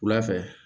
Wula fɛ